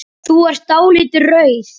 Þú er dáldið rauð.